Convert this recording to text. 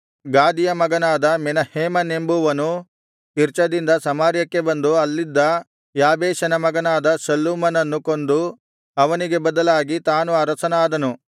ಗಾದಿಯ ಮಗನಾದ ಮೆನಹೇಮನೆಂಬುವನು ತಿರ್ಚದಿಂದ ಸಮಾರ್ಯಕ್ಕೆ ಬಂದು ಅಲ್ಲಿದ್ದ ಯಾಬೇಷನ ಮಗನಾದ ಶಲ್ಲೂಮನನ್ನು ಕೊಂದು ಅವನಿಗೆ ಬದಲಾಗಿ ತಾನು ಅರಸನಾದನು